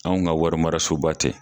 Anw ka wari maraso ba tɛ.